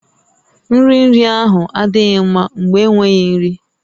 Nri iri ahụ adịghị mma mgbe enweghị nri